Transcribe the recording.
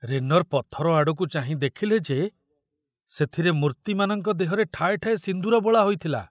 ରେନର ପଥର ଆଡ଼କୁ ଚାହିଁ ଦେଖିଲେ ଯେ ସେଥିରେ ମୂର୍ତ୍ତିମାନଙ୍କ ଦେହରେ ଠାଏ ଠାଏ ସିନ୍ଦୂର ବୋଳା ହୋଇଥିଲା।